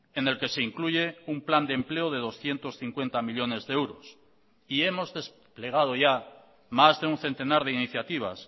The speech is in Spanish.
en el que se incluye un plan de empleo de doscientos cincuenta millónes de euros y hemos desplegado ya más de un centenar de iniciativas